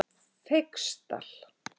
Feigsdal